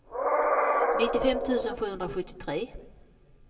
nittiofem tusen sjuhundrasjuttiotre